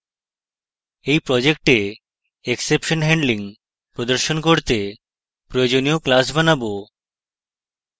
এই project exception handling প্রদর্শন করতে প্রয়োজনীয় classes বানাবো